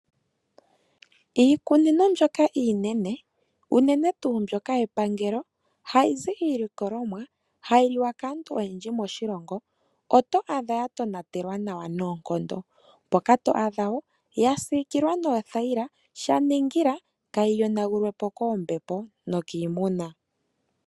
Iikunino mbyoka iinene, unene tuu mbyoka yepangelo hayi zi iilikolomwa hayi liwa kaantu oyendji moshilongo, oto adha ya tonatelwa nawa noonkondo. Mpoka to adha wo ya siikilwa noothayila sha ningila kaa yi yonagulwe po koombepo nokiimuna.